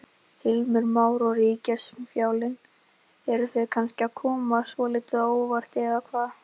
Heimir Már: Og ríkisfjármálin, eru þau kannski að koma svolítið á óvart eða hvað?